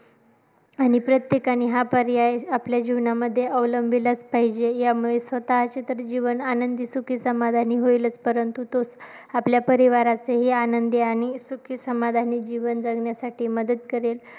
आणि प्रत्येकाने हा पर्याय आपल्या जीवनामध्ये अवलंबिलाच पाहिजे, यामुळे स्वतःचे तर जीवन आनंदी, सुखी, समाधानी होईलच, परंतु तोच आपल्या परिवाराचेही आनंदी आणि सुखी, समाधानी जीवन जगण्यासाठी मदत करेल.